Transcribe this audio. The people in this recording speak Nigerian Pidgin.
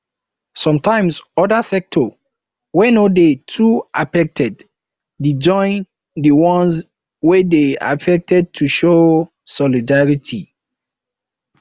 sometimes other sector wey no de too affected de join di ones wey de affected to show solidarity